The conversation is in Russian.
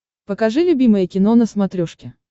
покажи любимое кино на смотрешке